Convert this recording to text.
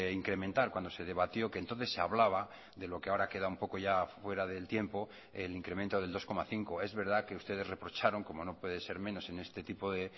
incrementar cuando se debatió que entonces se hablaba de lo que ahora queda un poco ya fuera del tiempo el incremento del dos coma cinco es verdad que ustedes reprocharon como no puede ser menos en este tipo de